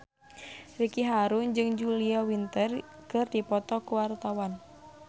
Ricky Harun jeung Julia Winter keur dipoto ku wartawan